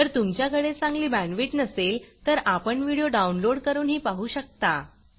जर तुमच्याकडे चांगली बॅंडविड्त नसेल तर आपण व्हिडिओ डाउनलोड करूनही पाहू शकता